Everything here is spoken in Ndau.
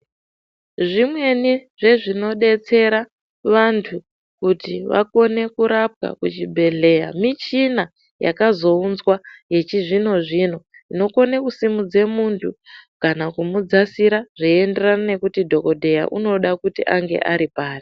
Zvimweni zvezvinodetsera vantu kuti vakone kurapwa kuchibhedhleya michina yakazounzwa yechizvino-zvino inokone kusimudze muntu kana kumudzasira, zveienderana nekuti dhogodheya unoda kuti ange ari pari.